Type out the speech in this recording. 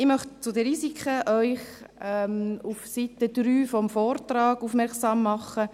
Ich möchte Sie zu den Risiken auf die Seite 3 des Vortrags aufmerksam machen.